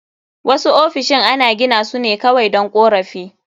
Wasu ofisoshin ana gina su ne kawai don korafi